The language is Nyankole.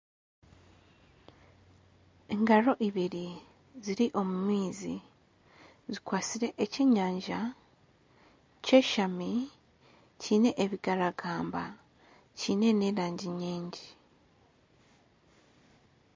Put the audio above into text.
Engaro ibiri ziri omu maizi zikwasire eky'enyanja kyeshami kine ebigaragamba kiine n'erangi nyingi.